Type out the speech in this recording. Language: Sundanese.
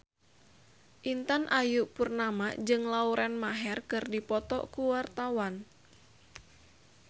Intan Ayu Purnama jeung Lauren Maher keur dipoto ku wartawan